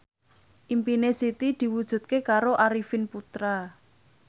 impine Siti diwujudke karo Arifin Putra